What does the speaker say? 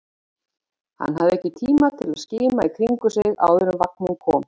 Hann hafði ekki tíma til að skima í kringum sig áður en vagninn kom.